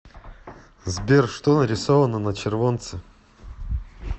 сбер что нарисовано на червонце